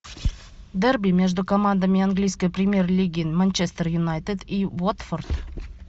дерби между командами английской премьер лиги манчестер юнайтед и уотфорд